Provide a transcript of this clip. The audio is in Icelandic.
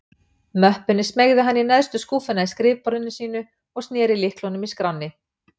Möppunni smeygði hann í neðstu skúffuna í skrifborði sínu, og sneri lyklinum í skránni.